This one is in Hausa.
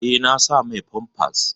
Eh, na sa mai famfas.